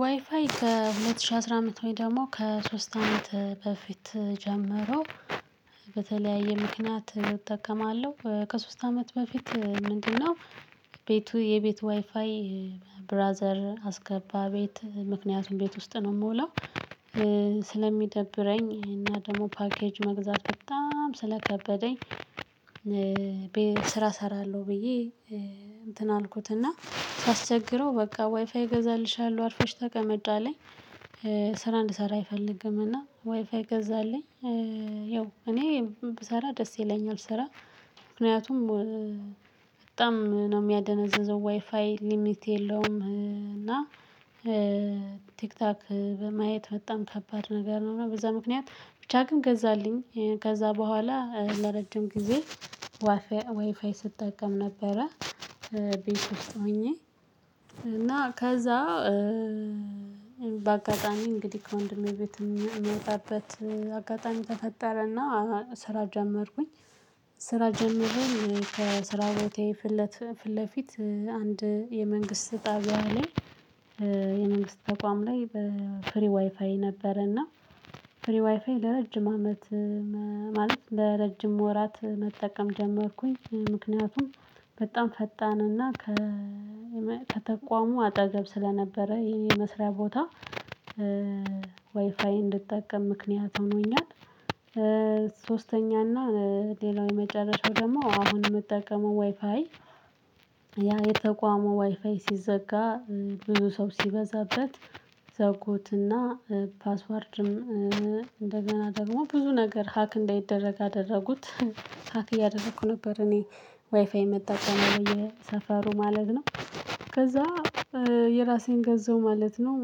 ዋይፋይ ከሁለት ሺህ አስራ አመት ወይ ደግሞ ከሶስት አመት በፊት ጀምሮ በተለያየ ምክንያት እጠቀማለሁ። ከሶስት አመት በፊት ምንድነው ቤቱ የቤት ዋይፋይ? ብራዘር አስገባ ቤት ምክንያቱም ቤት ውስጥ ነው የምውለው። ስለሚደብረኝ እና ደግሞ ፓኬጅ መግዛት በጣም ስለከበደኝ። ስራ እሰራለሁ ብዬ እንትን አልኩት እና ሳስቸግረው በቃ ዋይፋይ እገዛልሻለሁ አርፎሽ ተቀመጭ አለኝ። ስራ እንድሰራ አይፈልግም እና ዋይፋይ ገዛልኝ። ያው እኔ ብሰራ ደስ ይለኛል ስራ። ምክንያቱም በጣም ነው የሚያደነዘዘው ዋይፋይ ሊሚት የለውም። እና ቲክቶክ በማየት በጣም ከባድ ነገር ነው በዛ ምክንያት ብቻ ግን ገዛልኝ ከዛ በኋላ ለረጅም ጊዜ። ዋይፋይ ስጠቀም ነበረ። ቤት ውስጥ ሆኜ እና ከዛ በአጋጣሚ እንግዲህ ከወንድሜ ቤት የምወጣበት አጋጣሚ ተፈጠረ እና ስራ ጀመርኩኝ። ስራ ጀመሬም ከስራ ቦታዬ ፊት ለፊት አንድ የመንግስት ጣቢያ ላይ። የመንግስት ተቋም ላይ በፍሪ ዋይፋይ ነበረ እና ፍሪ ዋይፋይ ለረጅም አመት። ማለት ለረጅም ወራት መጠቀም ጀመርኩኝ። ምክንያቱም በጣም ፈጣን እና ከተቋሙ አጠገብ ስለነበረ ይሄ የመስሪያ ቦታ። ዋይፋይ እንድጠቀም ምክንያት ሆኖኛል። ሶስተኛ እና ሌላው የመጨረሻው ደግሞ አሁን የምጠቀመው ዋይፋይ። ያ የተቋሙ ዋይፋይ ሲዘጋ ብዙ ሰው ሲበዛበት ዘጉት እና ፓስወርድም እንደገና ደግሞ ብዙ ነገር ሀክ እንዳይደረግ አደረጉት። ሀክ እያደረኩ ነበር እኔ። ዋይፋይ ምጠቀመው በየሰፈሩ ማለት ነው። ከዛ የራሴን ገዛው ማለት ነው።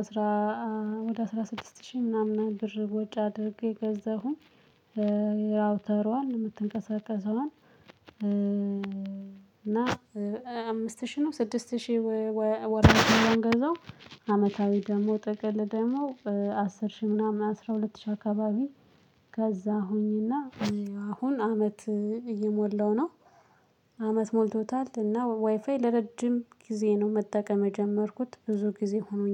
አስራ ወደ አስራ ስድስት ሺህ ምናምን ብር ወጭ አድርጌ ገዛሁኝ። የራውተሯን የምትንቀሳቀሰዋን እና አምስት ሺህ ነው ስድስት ሺህ ወርሃዊ የምንገዛው። አመታዊ ደግሞ ጥቅል ደግሞ አስር ሺህ ምናምን አስራ ሁለት ሺህ አካባቢ። ከዛ ሁኚ እና አሁን አመት እየሞላው ነው። አመት ሞልቶታል እና ዋይፋይ ለረጅም ጊዜ ነው መጠቀም የጀመርኩት ብዙ ጊዜ ሆኖኛል